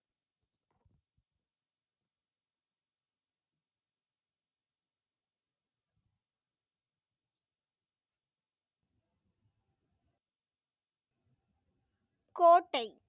கோட்டை.